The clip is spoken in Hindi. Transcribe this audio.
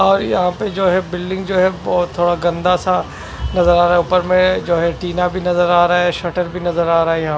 और यहाँ पे जो है बिल्डिंग जो है बहत थोड़ा गन्दा सा नजर आ रहा है ऊपर में जो है टीना भी नजर आ रहे है सटर भी नजर आ रहे है यहाँ पे --